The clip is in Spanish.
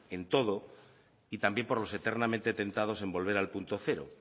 en todo y también por los eternamente tentados en volver al punto cero